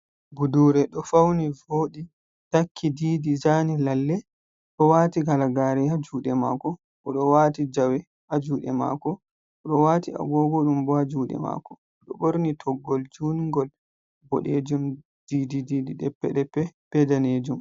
Budure ɗo fauni vodi takki, didi, zani, lalle ɗo waati halagaare haa juɗe maako, o ɗo waati jawe haa juɗe maako, oɗo waati agogo ɗum ɓo haa juɗe maako, oɗo ɓorni toggol jungol boɗejum, ɗeppe ɗeppe ɓe daneejum.